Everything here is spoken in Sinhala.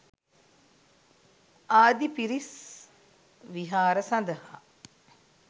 ආදි පිරිස් විහාර සඳහා